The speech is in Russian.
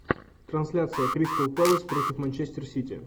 трансляция кристал пэлас против манчестер сити